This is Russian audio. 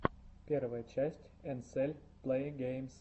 первая часть энсель плэйгеймс